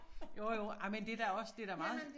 Jo jo ej men det da også det da meget